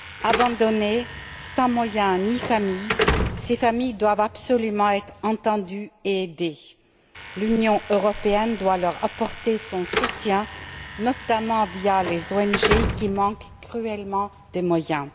Abandonnées, sans moyens ni famille, ces femmes doivent absolument être entendues et aidées. L'Union européenne doit leur apporter son soutien, notamment via les ONG qui manquent cruellement de moyens.